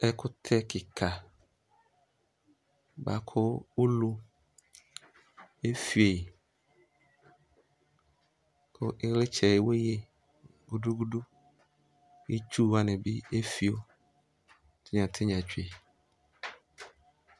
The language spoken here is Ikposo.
Ɛkʋtɛ kika buakʋ ulu ɛfio yi kʋ iɣlitsɛ eweye gudugudu Itsu wani bi efio tinyatinya tsue